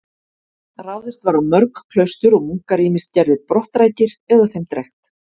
Ráðist var á mörg klaustur og munkar ýmist gerðir brottrækir eða þeim drekkt.